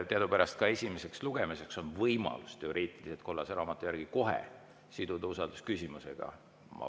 Teadupärast ka esimesel lugemisel on võimalus teoreetiliselt, kollase raamatu järgi kohe siduda usaldusküsimusega.